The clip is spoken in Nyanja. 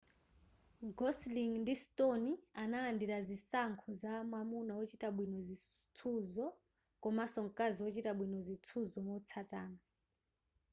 gosling ndi stone analandira zinsankho za mwamuna wochita bwino zitsuzo komanso mkazi ochita bwino zitsuzo motsatana